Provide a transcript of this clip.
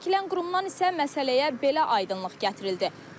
Adı çəkilən qurumdan isə məsələyə belə aydınlıq gətirildi.